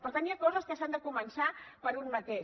per tant hi ha coses que s’han de començar per un mateix